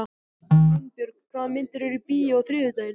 Finnbjörg, hvaða myndir eru í bíó á þriðjudaginn?